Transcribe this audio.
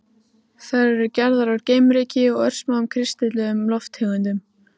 Þær eru gerðar úr geimryki og örsmáum kristölluðum lofttegundum.